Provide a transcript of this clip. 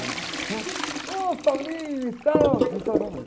Oh, e tal. Então...